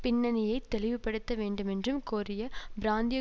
பின்னனியைத் தெளிவுபடுத்த வேண்டுமென்றும் கோரிய பிராந்திய